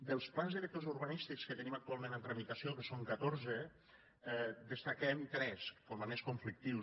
dels plans directors urbanístics que tenim actualment en tramitació que són catorze en destaquem tres com a més conflictius